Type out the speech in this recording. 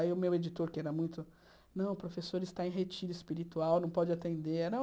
Aí o meu editor, que era muito... Não, o professor está em retiro espiritual, não pode atender. Era